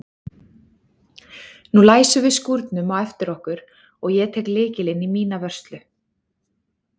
Nú læsum við skúrnum á eftir okkur og ég tek lykilinn í mína vörslu.